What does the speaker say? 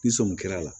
Ni sɔmi kɛra a la